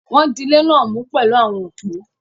Wọ́n dilé náà mú pẹ̀lú àwọn òpó.